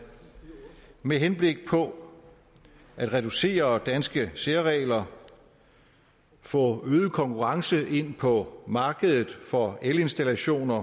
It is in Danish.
med henblik på at reducere antallet af danske særregler få øget konkurrence ind på markedet for elinstallationer